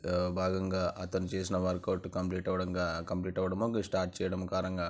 భాగంగా అతను చేసిన వర్క్ అవుట్ కంప్లీట్ అవ్వడం గ కంప్లీట్ అవ్వడము లేక స్టార్ట్ చెయ్యడము --]